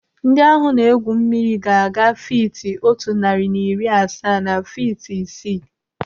Ndị ahụ na-egwu mmiri ga-aga fiiti otu narị na iri asaa na fiiti isii.